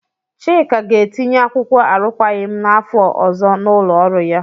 Chika ga-etinye akwụkwọ arụkwaghị m n'afọ ọzọ n'ụlọ ọrụ ya.